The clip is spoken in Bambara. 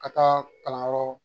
Ka taa kalanyɔrɔ